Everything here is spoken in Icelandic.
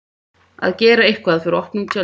Að gera eitthvað fyrir opnum tjöldum